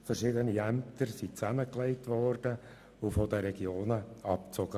Verschiedene Ämter wurden zusammengelegt und aus den Regionen abgezogen.